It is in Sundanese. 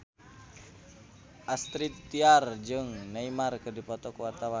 Astrid Tiar jeung Neymar keur dipoto ku wartawan